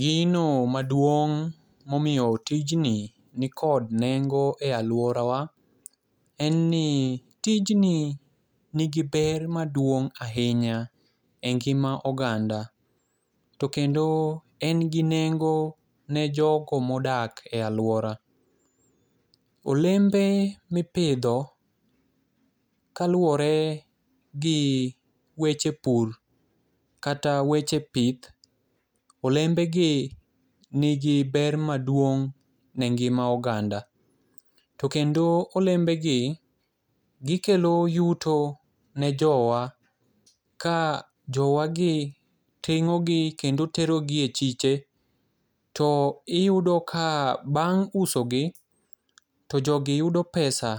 Gino maduong' momiyo tijni nikod nengo e aluorawa en ni tijni nigi ber maduong' ahinya engima oganda to kendo en gi nengo ne jogo modak e aluora. Olembe mipidho kaluwore gi weche pur kata weche pith olembegi nigi ber maduong' ne ngima oganda. To kendo olembegi ikelo yuto ne jowa ka jowagi ting'o gi kendo tero gi e chiche. Iyudo ka bang' usogi to jogi yudo pesa.